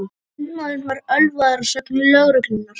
Sundmaðurinn var ölvaður að sögn lögreglunnar